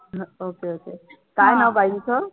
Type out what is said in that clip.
okay okay काय नाव बाईंचं?